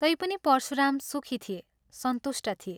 तैपनि परशुराम सुखी थिए, सन्तुष्ट थिए।